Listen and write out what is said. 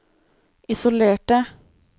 isolerte